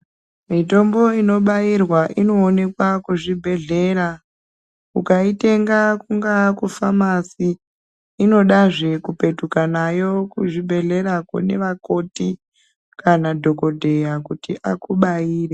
Mutombo inobairwa inoonekwa kuzvibhehlera. Ukaitenga kunga kufamasi inodazve kupetuka nayo kuzvibhehlerako kune vakoti kana madhokodheya kuti akubaire.